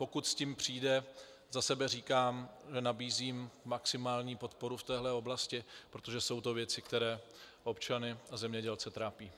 Pokud s tím přijde, za sebe říkám, že nabízím maximální podporu v této oblasti, protože jsou to věci, které občany a zemědělce trápí.